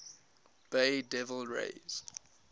bay devil rays